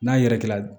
N'a yɛrɛkɛ la